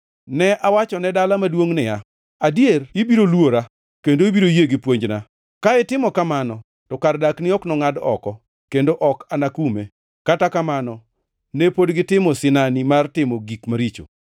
Ne awachone dala maduongʼ niya, ‘Adier ibiro luora, kendo ibiro yie gi puonjna!’ Ka itimo kamano, to kar dakni ok nongʼad oko, kendo ok anakume. Kata kamano, ne pod gi timo sinani mar timo gik maricho.”